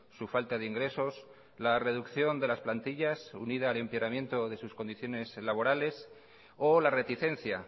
su falta de ingresos la reducción de las plantillas unida al empeoramiento de sus condiciones laborales o la reticencia